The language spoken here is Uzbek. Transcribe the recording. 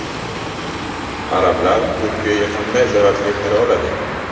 Arablar Turkiyaga qanday zarar keltira oladi?